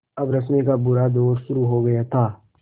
अब रश्मि का बुरा दौर शुरू हो गया था